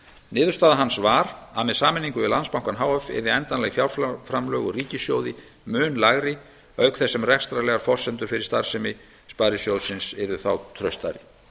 niðurstaða hans var að með sameiningu við landsbankann h f yrðu endanleg framlög úr ríkissjóði mun lægri auk þess sem rekstrarlegar forsendur fyrir starfsemi sparisjóðsins yrðu þá traustari